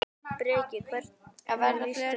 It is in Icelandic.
Breki: Hvernig líst þér á þetta?